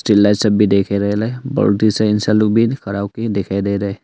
Lights सब भी देखे रेला है बाउंड्री से इंसान लोग भी खड़ा हो के दिखाई दे रहा है।